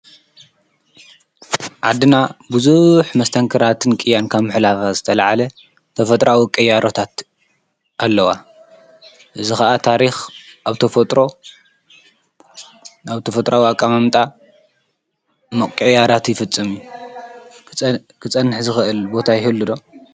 ዓድና ብዙሕ መስተንክራትን ቂያን ካብ ምሕላፋ ዝተለዓለ ተፈጥራዊ ቅያሮታት ኣለዋ። እዚ ኸዓ ታሪኽ ኣብ ተፈጥሮ ኣብቲ ተፈጥራዊ ኣቃማምጣ ሞቅይያራት ይፍፅም ክፀንሕ ዝኽእል ቦታ ይሁሉ'ዶ?